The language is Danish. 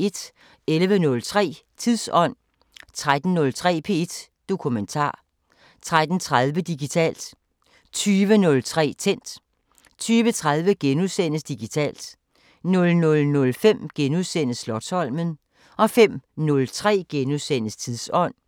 11:03: Tidsånd 13:03: P1 Dokumentar 13:30: Digitalt 20:03: Tændt 20:30: Digitalt * 00:05: Slotsholmen * 05:03: Tidsånd *